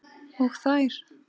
Og þær.